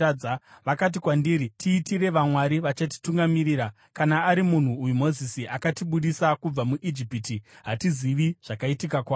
Vakati kwandiri, ‘Tiitire vamwari vachatitungamirira. Kana ari munhu uyu Mozisi akatibudisa kubva muIjipiti, hatizivi zvakaitika kwaari.’